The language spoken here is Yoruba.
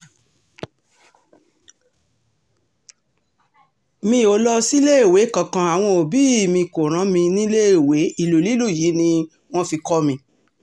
mi um ò lọ síléèwé kankan àwọn òbí um mi kò rán mi níléèwé ìlú lílù yìí ni wọ́n fi kọ́ mi